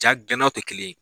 Ja dilannaw tɛ kelen ye